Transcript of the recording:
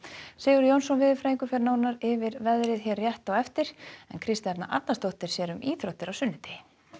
Sigurður Jónsson veðurfræðingur fer yfir veðrið hér rétt á eftir Kristjana Arnarsdóttir sér um íþróttir á sunnudegi